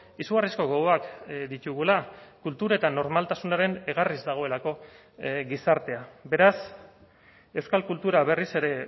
izugarrizko gogoak ditugula kultura eta normaltasunaren egarriz dagoelako gizartea beraz euskal kultura berriz ere